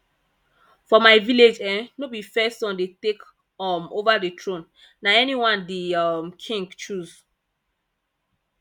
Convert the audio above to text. for my village um no be first son dey take um over the throne na anyone di um king choose